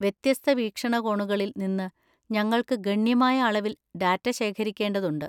വ്യത്യസ്ത വീക്ഷണകോണുകളിൽ നിന്ന് ഞങ്ങൾക്ക് ഗണ്യമായ അളവിൽ ഡാറ്റ ശേഖരിക്കേണ്ടതുണ്ട്.